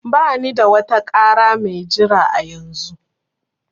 Bani da wata ƙara mai jira a yanzu